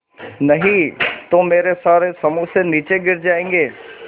नहीं तो मेरे सारे समोसे नीचे गिर जायेंगे